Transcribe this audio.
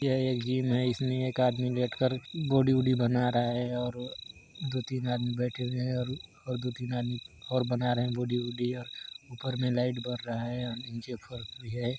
यह एक जिम है इसमे एक आदमी लेट कर बॉडी वॉडी बना रहा है ओर दो तीन आदमी बैठे हुए है और दो तीन आदमी और बना रहे हैं बॉडी ऊपर मे लाइट बर रहा हैं और नीचे मे--